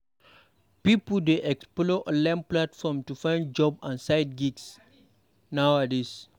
Pipo dey explore online platforms to find jobs and side gigs nowadays.